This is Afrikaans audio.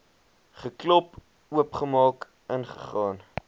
geklop oopgemaak ingegaan